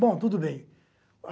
Bom, tudo bem.